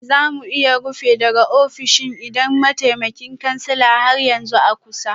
Ba za mu iya rufe daga ofishin idan mataimakin kansila har yanzu a kusa